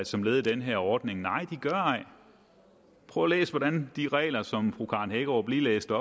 som led i den her ordning nej de gør ej prøv at læse hvordan de regler som fru karen hækkerup lige læste